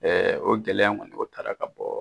o gɛlɛya in kɔni o taara ka bɔ